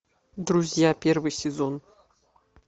друзья первый сезон